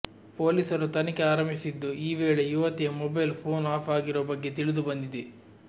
ಪೊಲೀಸರು ತನಿಖೆ ಆರಂಭಿಸಿದ್ದು ಈ ವೇಳೆ ಯುವತಿಯ ಮೊಬೈಲ್ ಫೋನ್ ಆಫ್ ಆಗಿರುವ ಬಗ್ಗೆ ತಿಳಿದು ಬಂದಿದೆ